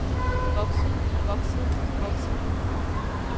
vokset vokset vokset